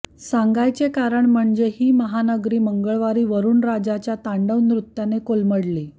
सांगायचे कारण म्हणजे ही महानगरी मंगळवारी वरुणराजाच्या तांडव नृत्याने कोलमडली